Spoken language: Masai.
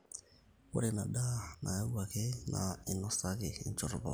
ore ina daa nayauwaki naa einosaki enchoto pooki